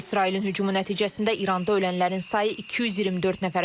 İsrailin hücumu nəticəsində İranda ölənlərin sayı 224 nəfərə çatıb.